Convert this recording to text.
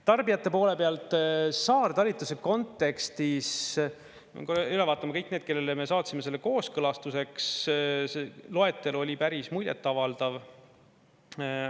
Tarbijate poole pealt, saartalitluse kontekstis, pean üle vaatama kõik need, kellele me saatsime selle kooskõlastuseks, see loetelu oli päris muljet avaldav.